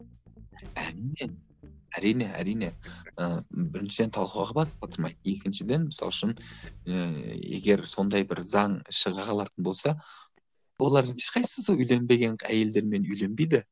әрине әрине ы біріншіден талқылауға бас қатырмайды екіншіден мысалы үшін ыыы егер сондай бір заң шыға қалатын болса олардың ешқайсысы сол үйленбеген әйелдермен үйленбейді